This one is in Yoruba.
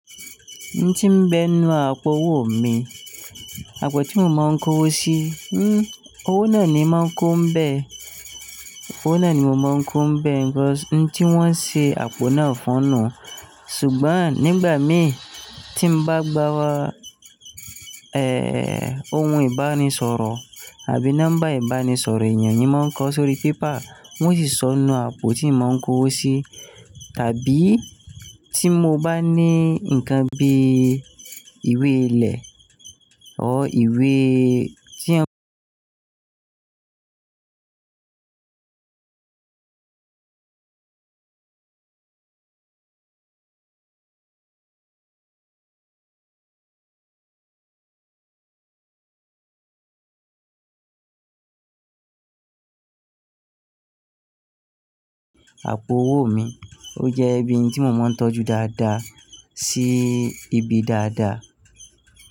N tí ń bẹ nínú àpò owó mi, àpò tí mo máa ń kó owó sí, owó náà ni màá ń kó ń bẹ, owó náà ni mo máa ń kó ń bẹ, nítorí tí wọ́n ṣe àpò náà fúnnu. Ṣùgbọ́n nígbà mí tí mo bá gbá wa, eh, ohun ìbánisọ̀rọ̀ àbí nọ́mbà ìbánisọ̀rọ̀ ènìyàn yìí máa ń kọ sórí paper, wọ́n sì sọ inú àpò tí mò ń kó owó sí. Tàbí tí mo bá ní ǹkan bí ìwé ilẹ̀, or ìwé tí ẹ́ ń kọ iṣẹ́, àpò owó mi ó jẹ́ ibi tí mo máa ń tọ́jú dáadáa sí ibi dáadáa.